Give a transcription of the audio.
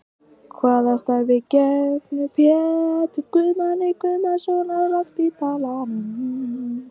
Hvaða starfi gegnir Pétur Guðmann Guðmannsson á Landspítalanum?